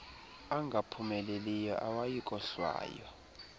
angaphumeleliyo awayi kohlwaywa